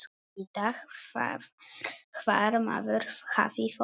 Vita hvar maður hafði fólk.